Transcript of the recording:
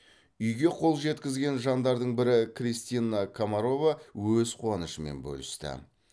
үйге қол жеткізген жандардың бірі кристина комарова өз қуанышымен бөлісті